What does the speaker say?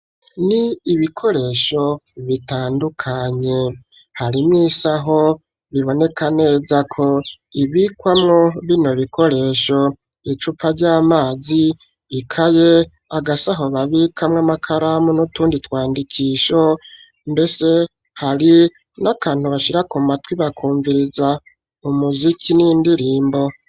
Ni ibikoresho bitandukanye, isaho, biboneka neza ko, ibikwamwo bino bikoresho, icupa ry'amazi, ikaye, agasaho babikamwo amakaramu, n'utundi twandikisho, mbese hari n'akantu bashira ku matwi, bakumviriza umuziki, n'indirimbo.